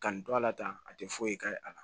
Ka n to ala tan a tɛ foyi k'a ye a la